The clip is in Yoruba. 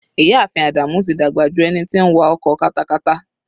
Ìyá ààfin Ádámù tí dàgbà ju ẹni tí ń wa ọkọ katakata.